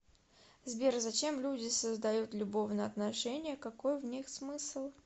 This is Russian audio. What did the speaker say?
сбер зачем люди создают любовные отношения какой в них смысл